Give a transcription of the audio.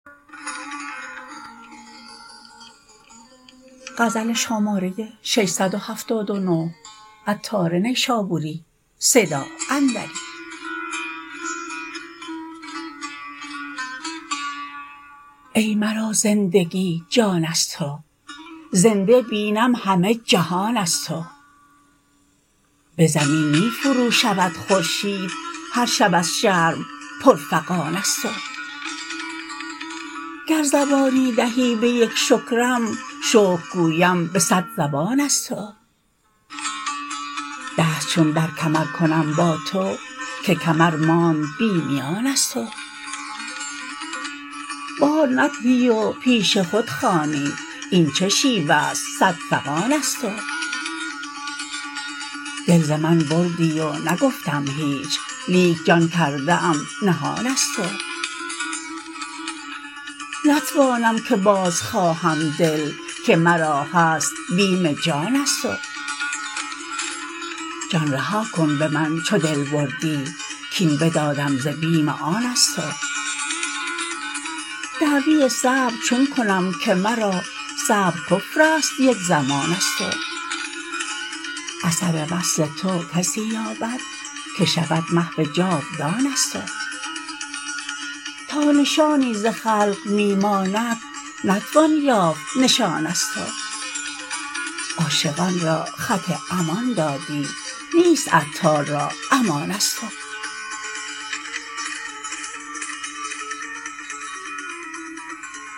ای مرا زندگی جان از تو زنده بینم همه جهان از تو به زمین می فرو شود خورشید هر شب از شرم پر فغان از تو گر زبانی دهی به یک شکرم شکر گویم به صد زبان از تو دست چون در کمر کنم با تو که کمر ماند بی میان از تو بار ندهی و پیش خود خوانی این چه شیوه است صد فغان از تو دل ز من بردی و نگفتم هیچ لیک جان کرده ام نهان از تو نتوانم که باز خواهم دل که مرا هست بیم جان از تو جان رها کن به من چو دل بردی کین بدادم ز بیم آن از تو دعوی صبر چون کنم که مرا صبر کفر است یک زمان از تو اثر وصل تو کسی یابد که شود محو جاودان از تو تا نشانی ز خلق می ماند نتوان یافت نشان از تو عاشقان را خط امان دادی نیست عطار را امان از تو